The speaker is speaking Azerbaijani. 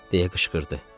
deyə qışqırdı.